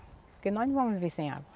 Porque nós não vamos viver sem água.